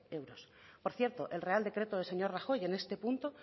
euros por cierto el real decreto del señor rajoy en este punto